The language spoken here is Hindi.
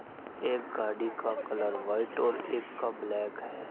एक गाड़ी का कलर व्हाइट और एक का ब्लैक है।